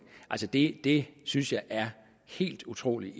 det det synes jeg er helt utroligt